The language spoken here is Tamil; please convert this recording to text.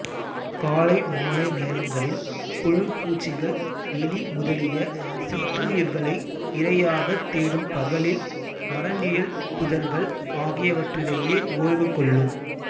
காலை மாலை நேரங்களில் புழு பூச்சிகள் எலி முதலிய சிற்றுயிர்களை இரையாகத் தேடும் பகலில் மரநிழல் புதர்கள் ஆகியவற்றிடையே ஓய்வுகொள்ளும்